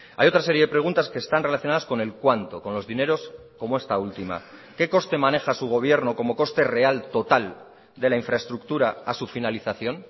hay otra serie de preguntas que están relacionadas con el cuánto con los dineros como esta última qué coste maneja su gobierno como coste real total de la infraestructura a su finalización